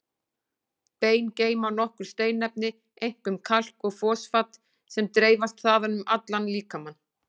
Bein geyma nokkur steinefni, einkum kalk og fosfat, sem dreifast þaðan um allan líkamann.